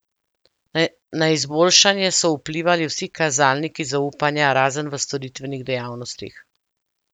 Na izboljšanje so vplivali vsi kazalniki zaupanja, razen v storitvenih dejavnostih.